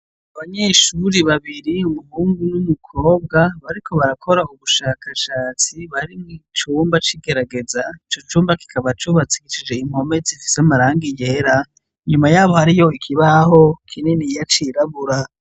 Abanyeshuri babiri, muhungu n' umukobwa, bariko barakora ubushakashatsi, bari mu cumba c' igerageza, ico cumba kikaba cubakishije impome zifise amarangi yera, inyuma hariho ikibaho kininiya cirabura.